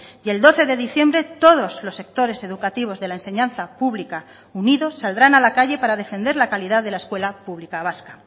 y el doce de diciembre todos los sectores educativos de la enseñanza pública unidos saldrán a la calle para defender la calidad de la escuela pública vasca